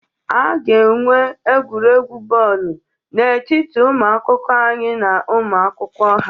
A ga-enwe egwuregwu bọọlụ n'etiti ụmụ akwụkwọ anyị na ụmụ akwụkwọ ha